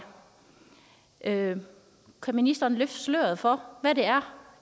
kan ministeren løfte sløret for hvad det er